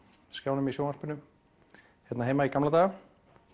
skjánum í sjónvarpinu hérna heima í gamla daga